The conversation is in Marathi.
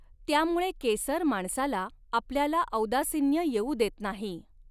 त्यामुळे केसर माणसाला आपल्याला औदासिन्य येऊ देत नाही.